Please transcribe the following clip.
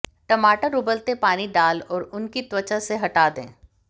टमाटर उबलते पानी डाल और उनकी त्वचा से हटा दें